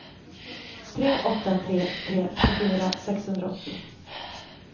tre åtta tre tre tjugofyra sexhundraåttio